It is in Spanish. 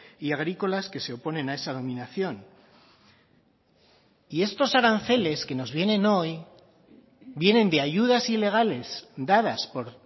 y agrícolas que se oponen a esa dominación y estos aranceles que nos vienen hoy vienen de ayudas ilegales dadas por